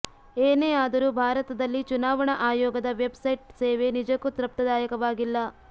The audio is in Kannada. ಏನೇ ಆದರೂ ಭಾರತದಲ್ಲಿ ಚುನಾವಣಾ ಆಯೋಗದ ವೆಬ್ ಸೈಟ್ ಸೇವೆ ನಿಜಕ್ಕೂ ತೃಪ್ತದಾಯಕವಾಗಿಲ್ಲ